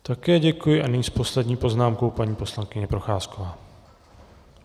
Také děkuji a nyní s poslední poznámkou paní poslankyně Procházková.